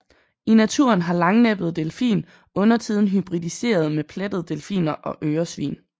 I naturen har langnæbbet delfin undertiden hybridiseret med plettede delfiner og øresvin